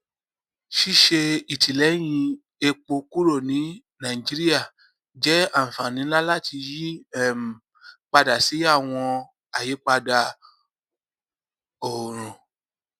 ṣíṣe ìtìlẹyìn epo kúrò ní nàìjíríà jẹ àǹfààní ńlá láti yí um padà sí àwọn àyípadà oorun